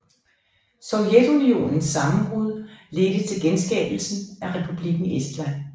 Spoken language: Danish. Sovjetunionens sammenbrud ledte til genskabelsen af Republikken Estland